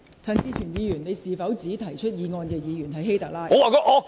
陳志全議員，你是否指提出議案的議員是"希特拉"？